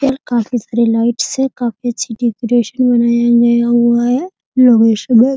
यार काफी सारे लाइट्स है काफी अच्छी डेकोरेशन बनाया गया हुआ है --